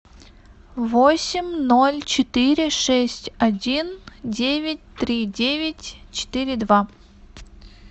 восемь ноль четыре шесть один девять три девять четыре два